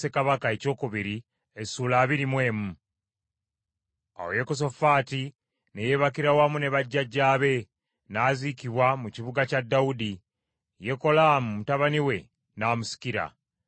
Awo Yekosafaati ne yeebakira wamu ne bajjajjaabe, n’aziikibwa mu kibuga kya Dawudi; Yekolaamu mutabani we n’amusikira.